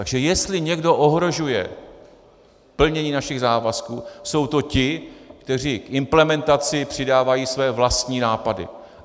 Takže jestli někdo ohrožuje plnění našich závazků, jsou to ti, kteří k implementaci přidávají své vlastní nápady.